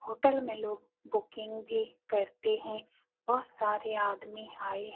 Hotel में लोग booking भी करते हैं। बहोत सारे आदमी आए है।